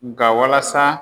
Nka walasa